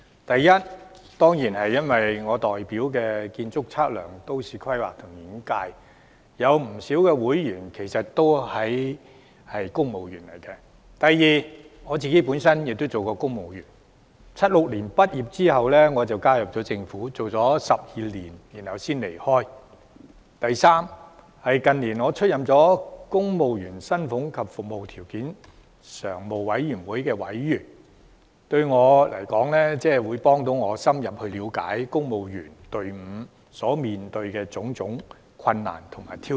第一，當然是因為我代表的建築、測量、都市規劃及園境界中，有不少人是公務員；第二，我亦曾經當過公務員，我於1976年畢業後便加入政府，工作了12年才離開；第三，近年我出任公務員薪俸及服務條件常務委員會委員，對我來說，這有助我深入了解公務員隊伍所面對的種種困難和挑戰。